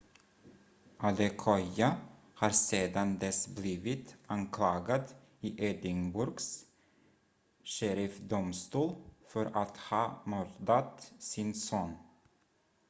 adekoya har sedan dess blivit anklagad i edinburghs sheriffdomstol för att ha mördat sin son